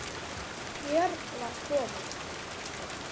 Björn var kominn.